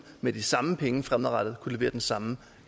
med de samme penge fremadrettet kunne levere den samme